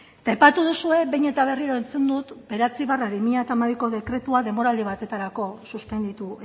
eta aipatu duzue behin eta berriro entzun dut bederatzi barra bi mila hamabiko dekretua denboraldi batetarako suspenditu